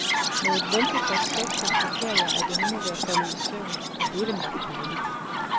Med et veltilfreds suk konstaterer jeg, at jeg nu må være faldet i søvn, og det er vel nok dejligt.